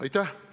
Aitäh!